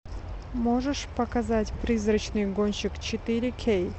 можешь показать призрачный гонщик четыре кей